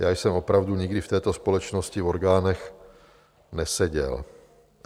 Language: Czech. Já jsem opravdu nikdy v této společnosti v orgánech neseděl.